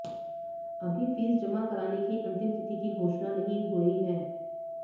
अभी फीस जमा कराने की अंतिम तिथि की घोषणा नहीं हुए है